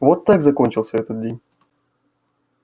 вот так закончился этот день